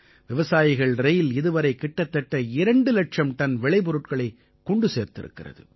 விவசாயிகள் ரயில் இதுவரை கிட்டத்தட்ட இரண்டு இலட்சம் டன் விளை பொருட்களைக் கொண்டு சேர்த்திருக்கிறது